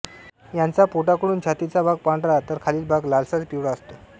यांचा पोटाकडून छातीचा भाग पांढरा तर खालील भाग लालसर पिवळा असतो